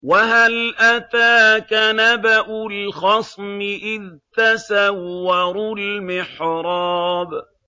۞ وَهَلْ أَتَاكَ نَبَأُ الْخَصْمِ إِذْ تَسَوَّرُوا الْمِحْرَابَ